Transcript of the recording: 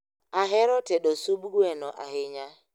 Ahero tedo sub gweno ahinya